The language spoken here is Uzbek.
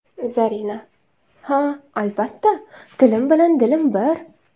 Zarina: Ha, albatta, tilim bilan dilim bir.